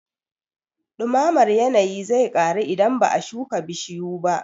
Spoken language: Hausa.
Ɗumamar yanayi zai ƙaru idan ba a shuka bishiyu